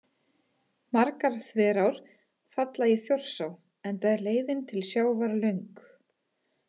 Margar þverár falla í Þjórsá enda er leiðin til sjávar löng.